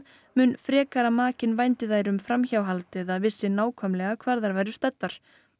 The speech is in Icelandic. mun frekar að makinn vændi þær um framhjáhald eða vissi nákvæmlega hvar þær væru staddar